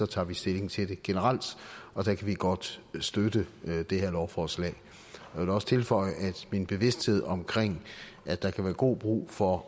tager stilling til det generelt og der kan vi godt støtte det her lovforslag jeg vil også tilføje at min bevidsthed om at der kan være god brug for